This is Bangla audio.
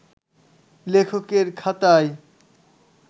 লেখকের খাতায়